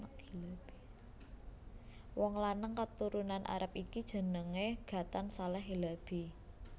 Wong lanang katurunan Arab iki jenengé Ghatan Saleh Hilabi